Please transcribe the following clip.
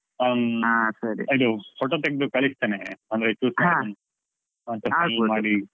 ಹ